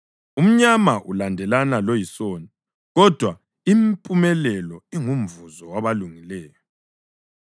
Umnyama ulandelana loyisoni, kodwa impumelelo ingumvuzo wabalungileyo.